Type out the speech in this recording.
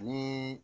Ni